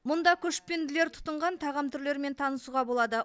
мұнда көшпенділер тұтынған тағам түрлерімен танысуға болады